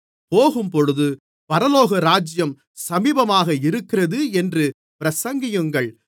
போகும்போது பரலோகராஜ்யம் சமீபமாக இருக்கிறது என்று பிரசங்கியுங்கள்